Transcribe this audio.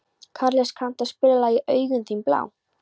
Karles, kanntu að spila lagið „Augun þín blá“?